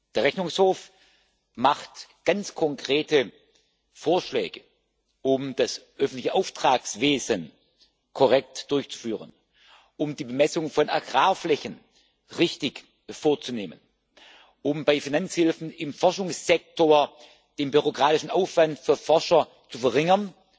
Der Rechnungshof macht ganz konkrete Vorschläge, um das öffentliche Auftragswesen korrekt durchzuführen, um die Bemessung von Agrarflächen richtig vorzunehmen, um bei Finanzhilfen im Forschungssektor den bürokratischen Aufwand für Forscher zu verringern